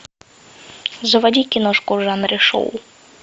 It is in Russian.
заводи киношку в жанре шоу